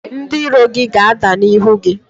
Ndị iro gị ga-ada n’ihu gị